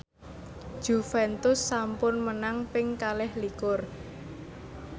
Juventus sampun menang ping kalih likur